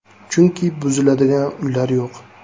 Chunki buziladigan uylar yo‘q.